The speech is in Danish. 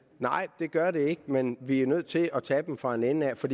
nej det gør det ikke men vi er nødt til at tage dem fra en ende af for